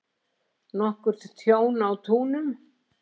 Nokkurt tjón á túnum